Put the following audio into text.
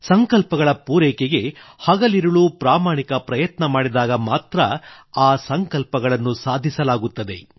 ಸಂಕಲ್ಪಗಳ ಪೂರೈಕೆಗೆ ಹಗಲಿರುಳು ಪ್ರಾಮಾಣಿಕ ಪ್ರಯತ್ನ ಮಾಡಿದಾಗ ಮಾತ್ರ ಆ ಸಂಕಲ್ಪಗಳನ್ನು ಸಾಧಿಸಲಾಗುತ್ತದೆ